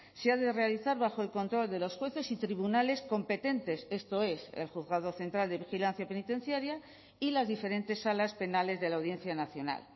se ha de realizar bajo el control de los jueces y tribunales competentes esto es el juzgado central de vigilancia penitenciaria y las diferentes salas penales de la audiencia nacional